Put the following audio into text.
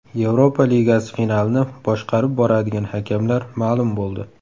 Yevropa Ligasi finalini boshqarib boradigan hakamlar ma’lum bo‘ldi.